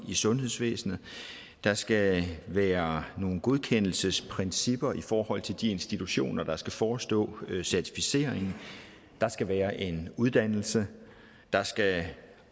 i sundhedsvæsnet der skal være nogle godkendelsesprincipper i forhold til de institutioner der skal forestå certificeringen der skal være en uddannelse der skal